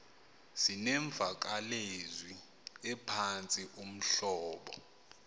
zinemvakalezwi ephantsi uhlobo